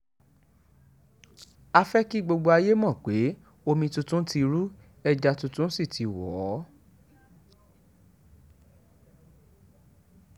a fẹ́ kí gbogbo ayé mọ̀ pé omi tuntun ti ru ẹja tuntun sí tí wọn o